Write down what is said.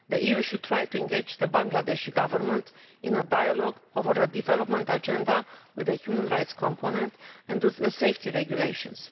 The EU should try to engage the Bangladeshi Government in a dialogue over a development agenda with a human rights component and with safety regulations.